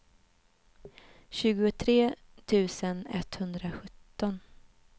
tjugotre tusen etthundrasjutton